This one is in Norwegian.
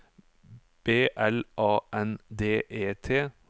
B L A N D E T